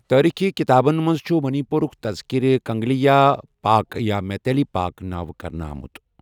تٲریٖخی کتابَن منٛز چھٗ منی پوٗرُک تذکرٕ کنگلِیایہ پاک یا میتیلی پاک نٲوِٕ كرنیہٕ آمٗت ۔